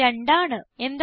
ഫലം 2 ആണ്